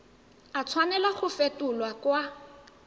a tshwanela go fetolwa kwa